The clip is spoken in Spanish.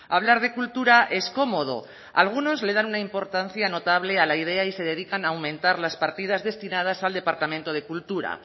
hablar de cultura es cómodo algunos le dan una importancia notable a la idea y se dedican a aumentar las partidas destinadas al departamento de cultura